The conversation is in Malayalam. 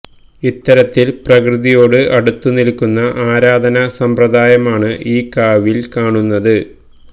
ഇത്തരത്തില് പ്രകൃതിയോട് അടുത്തു നില്ക്കുന്ന ആരാധന സമ്പ്രദായമാണ് ഈ കാവില് കാണുന്നത്